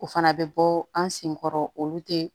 O fana bɛ bɔ an sen kɔrɔ olu tɛ